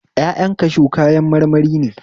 Ƴaƴan kashu kayan marmari ne